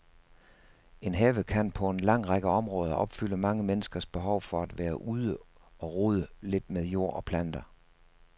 En have kan på en lang række områder opfylde mange menneskers behov for at være ude og rode lidt med jord og planter.